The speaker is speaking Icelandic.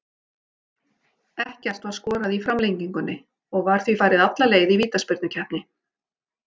Ekkert var skorað í framlengingunni og var því farið alla leið í vítaspyrnukeppni.